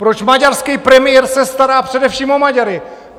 Proč maďarský premiér se stará především o Maďary?